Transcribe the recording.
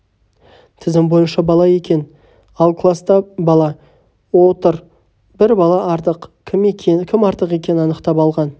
тізім бойынша бала екен ал класта бала отыр бір бала артық кім артық екенін анықтап алған